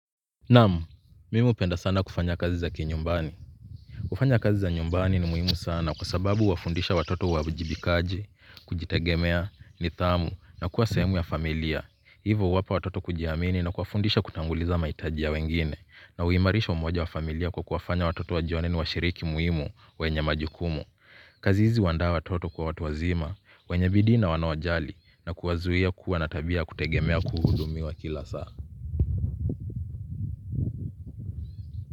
Naam, mimi hupenda sana kufanya kazi za kinyumbani. Kufanya kazi za nyumbani ni muhimu sana kwa sababu wafundisha watoto uwajibikaji, kujitegemea, nidhamu na kuwa sehemu ya familia. Hivyo huwapa watoto kujiamini na kuwafundisha kutanguliza mahitaji ya wengine na huimarisha umoja wa familia kwa kuwafanya watoto wajione ni washiriki muhimu wenye majukumu. Kazi hizi huandaa watoto kwa watu wazima, wenye bidii na wanao jali na kuwazuia kuwa na tabia ya kutegemea kuhudumiwa kila saa.